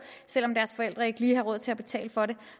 selv om deres forældre ikke lige har råd til at betale for det